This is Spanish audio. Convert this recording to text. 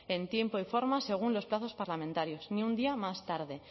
en tiempo y forma según los plazos parlamentarios ni un día más tarde